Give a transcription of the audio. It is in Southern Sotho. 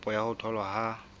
kopo ya ho tholwa ha